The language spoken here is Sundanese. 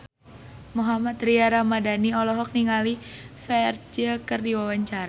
Mohammad Tria Ramadhani olohok ningali Ferdge keur diwawancara